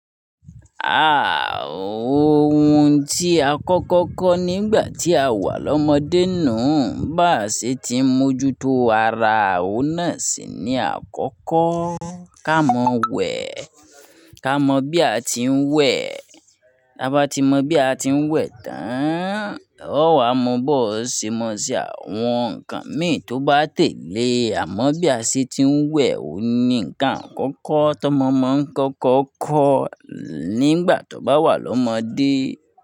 Àaah ohun tí akọ́kọ́ kọ́ nígbà tí a wà lọ́mọdé nuu, bàà ṣe ti ń mójú tó ara, òun náà sì ní àkọ́kọ́, ká mọ wẹ̀, ká mọ bí a ti ń wẹ̀, bi aba ti mọ bí a ti ń wẹ̀ tán, o wa mọ bọ̀, ó ṣe mọ se àwọn ǹkan mìíràn tó bá tẹ̀lé, àmọ́ bí a ṣe ti ń wẹ̀ òun ni ǹkan àkọ́kọ́ tó mọ mọ́ ń kọ́kọ́ kọ́ nígbà tó bá wà lọ́mọdé.